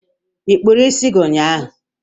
Ị kpụrụ isi gị ụnyahụ?